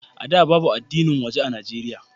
A da, babu addinin waje a Nijeriya.